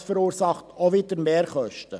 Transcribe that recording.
Das verursacht auch wieder Mehrkosten.